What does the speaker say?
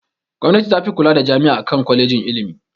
Gwamnati tafi kula da jami'a akan kwalejin ilimi.